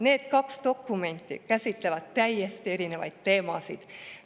Need kaks dokumenti käsitlevad täiesti erinevaid teemasid.